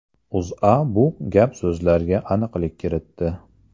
O‘zA bu gap-so‘zlarga aniqlik kiritdi .